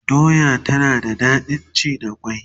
doya tana da daɗin ci da kwai